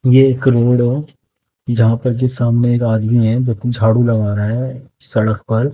ये एक रोड जहां पर कि सामने एक आदमी है जोकि झाड़ू लगा रहा है सड़क पर--